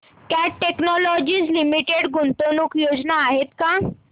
cat Technologies Limited च्या गुंतवणूक योजना आहेत का